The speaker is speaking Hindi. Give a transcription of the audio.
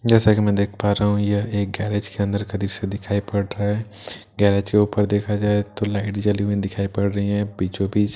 जैसे कि मैं देख पा रहा हूं यह एक गैरेज के अंदर का दृश्य दिखाई पड़ रहा है गैरेज के ऊपर देखा जाए तो लाइट जली हुई दिखाई पड़ रही है बीचों बीच एक का--